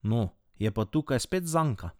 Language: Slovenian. No, je pa tukaj spet zanka.